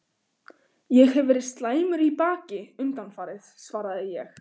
Ég hef verið slæmur í baki undanfarið svaraði ég.